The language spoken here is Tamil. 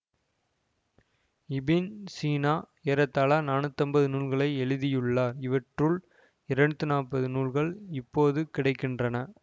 இபின் சீனா ஏறத்தாழ நாணுத்தம்பது நூல்களை எழுதியுள்ளார் இவற்றுள் இராணுத்தைம்பது நூல்களே இப்போது கிடை கின்றன